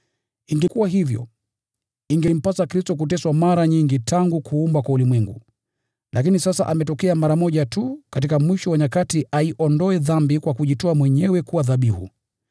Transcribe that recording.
Ingekuwa hivyo, ingempasa Kristo kuteswa mara nyingi tangu kuumbwa kwa ulimwengu. Lakini sasa ametokea mara moja tu katika mwisho wa nyakati aiondoe dhambi kwa kujitoa mwenyewe kuwa dhabihu.